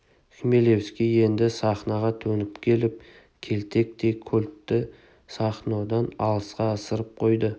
хмелевский енді сахноға төніп келіп келтектей кольтті сахнодан алысқа ысырып қойды